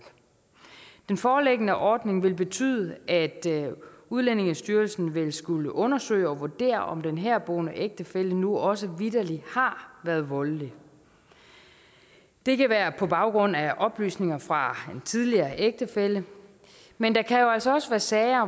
den foreliggende ordning ville betyde at udlændingestyrelsen ville skulle undersøge og vurdere om den herboende ægtefælle nu også vitterlig har været voldelig det kan være på baggrund af oplysninger fra en tidligere ægtefælle men der kan jo altså også være sager